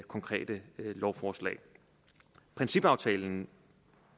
konkrete lovforslag principaftalen